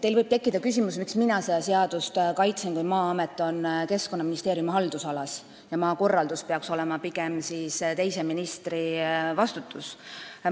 Teil võib tekkida küsimus, miks mina seda seaduseelnõu kaitsen, kui Maa-amet on Keskkonnaministeeriumi haldusalas ja maakorraldus peaks olema pigem teise ministri vastutada.